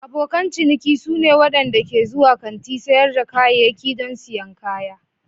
Abokan ciniki su ne waɗanda ke zuwa kantin sayar da kayayyaki don siyan kaya.